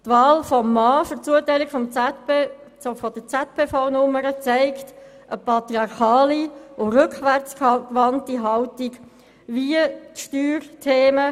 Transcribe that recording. Die Wahl des Mannes für die Zuteilung der ZPV-Nummer zeigt eine nach wie vor patriarchale und rückwärtsgewandte Haltung gegenüber der Handhabung von Steuerthemen.